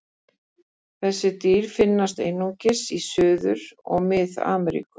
Þessi dýr finnast einungis í Suður- og Mið-Ameríku.